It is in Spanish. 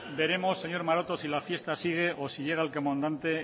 entonces veremos señor maroto si la fiesta sigue o si llega el comandante